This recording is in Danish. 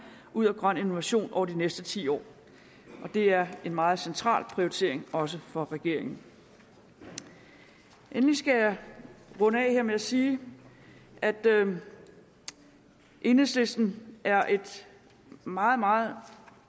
ud af grøn innovation over de næste ti år det er en meget central prioritering også for regeringen endelig skal jeg runde af her med at sige at enhedslisten er et meget meget